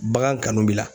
Bagan kanu b'i la